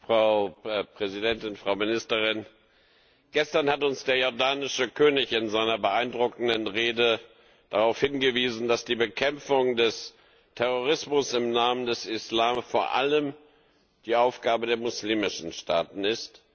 Frau Präsidentin, Frau Ministerin! Gestern hat uns der jordanische König in seiner beeindruckenden Rede darauf hingewiesen, dass die Bekämpfung des Terrorismus im Namen des Islams vor allem die Aufgabe der muslimischen Staaten ist.